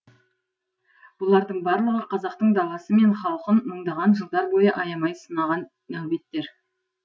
бұлардың барлығы қазақтың даласы мен халқын мыңдаған жылдар бойы аямай сынаған нәубеттер